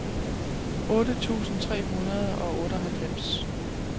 otte tusind tre hundrede og otteoghalvfems